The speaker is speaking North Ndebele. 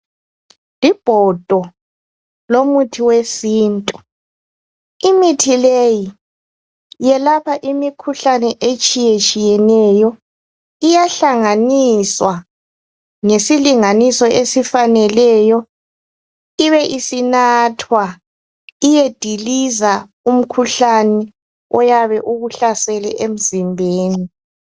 Ibhodo lomuthi wesintu imithi leyi yelapha imikhuhlani etshiyetshiyeneyo iyahlanganiswa ngesilinganiso esifaneleyo ibe isinathwa iyediliza umkhuhlane oyabe ukuhlasele emzimbeni